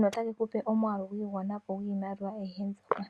notake kupe omwaalu gwa igwana po, gwiimaliwa ayihe mbyoka.